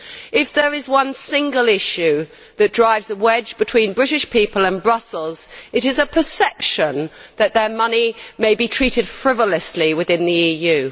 If there is one single issue that drives a wedge between British people and Brussels, it is a perception that their money may be treated frivolously within the EU.